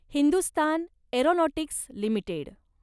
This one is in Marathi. Hindustan aeronautics limited